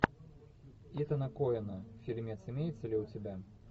итана коэна фильмец имеется ли у тебя